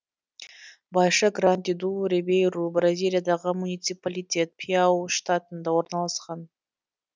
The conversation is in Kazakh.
байша гранди ду рибейру бразилиядағы муниципалитет пиауи штатында орналасқан